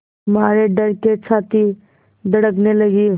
मारे डर के छाती धड़कने लगी